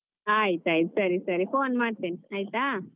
ಆಯ್ತ್ ಆಯ್ತ್ ಸರಿ ಸರಿ phone ಮಾಡ್ತೇನೆ ಆಯ್ತಾ.